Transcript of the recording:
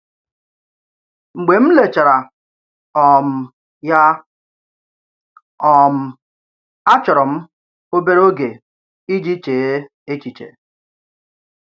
Mgbe m lèchàrà um ya, um àchọ̀rò m òbèrè ògè iji chèè echiche.